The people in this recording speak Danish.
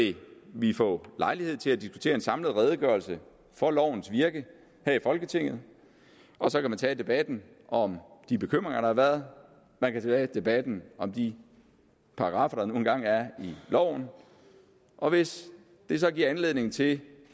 vil få lejlighed til at diskutere en samlet redegørelse for lovens virke her i folketinget og så kan man tage debatten om de bekymringer der har været man kan tage debatten om de paragraffer der nu engang er i loven og hvis det så giver anledning til